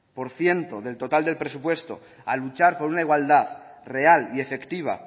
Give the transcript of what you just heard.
por ciento del total del presupuesto a luchar por una igualdad real y efectiva